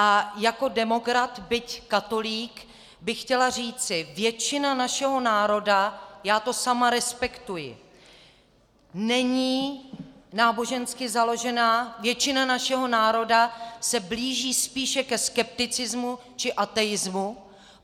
A jako demokrat, byť katolík, bych chtěla říci: Většina našeho národa, já to sama respektuji, není nábožensky založená, většina našeho národa se blíží spíše ke skepticismu či ateismu.